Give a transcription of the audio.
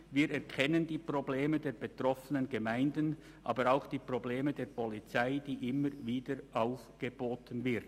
Wir erkennen die Probleme der betroffenen Gemeinden, aber auch die Probleme der Polizei, die immer wieder aufgeboten wird.»